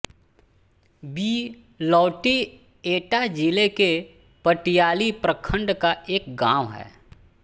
बिलौटी एटा जिले के पटियाली प्रखण्ड का एक गाँव है